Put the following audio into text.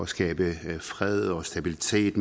skabe fred og stabilitet